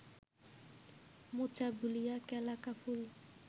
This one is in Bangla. মোচা ভুলিয়া কেলা কা ফুল